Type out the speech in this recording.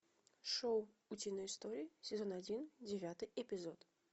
шоу утиные истории сезон один девятый эпизод